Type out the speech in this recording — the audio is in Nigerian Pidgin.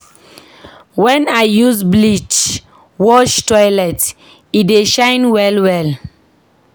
Wen I use bleach wash toilet, e dey shine well-well.